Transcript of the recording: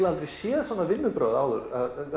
aldrei séð svona vinnubrögð áður